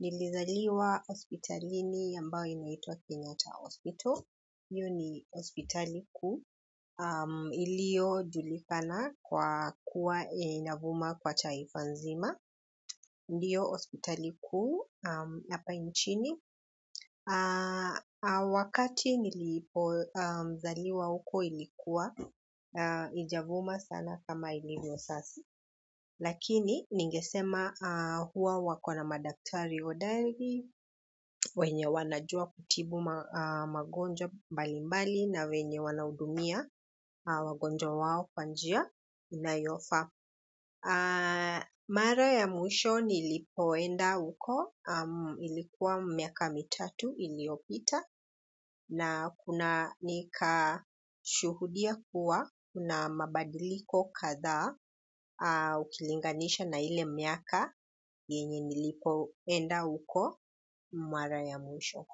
Nilizaliwa hospitalini ambayo inaitwa Kenyata Hospital. Hiyo ni hospitali kuu. Ilio julikana kwa kuwa inavuma kwa taifa nzima. Ndiyo hospitali kuu hapa nchini. Wakati nilipo zaliwa huko ilikuwa haija vuma sana kama ilivyo sasa lakini ningesema huwa wakona madaktari hodari wenye wanajua kutibu magonjwa mbalimbali na wenye wanahudumia wagonjwa wao kwanjia inayofaa mara ya mwisho nilipoenda huko ilikuwa miaka mitatu iliopita na kuna nika shuhudia kuwa kuna mabadiliko kadhaa ukilinganisha na ile miaka yenye nilipo enda huko mara ya mwisho.